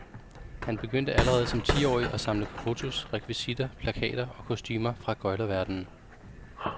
Han begyndte allerede som tiårig at samle på fotos, rekvisitter, plakater og kostumer fra gøglerverdenen.